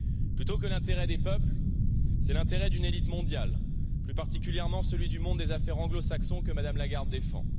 Plutôt que l'intérêt des peuples, c'est l'intérêt d'une élite mondiale, plus particulièrement celui du monde des affaires anglo saxon que Mme Lagarde défend.